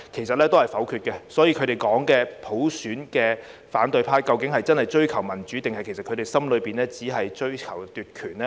所以，反對派說要追求普選，究竟真的是要追求民主，還是內心只是追求奪權？